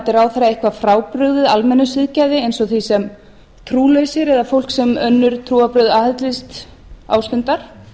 frábrugðið almennu siðgæði eins og því sem trúlausir eða fólk sem önnur trúarbrögð aðhyllist ástunda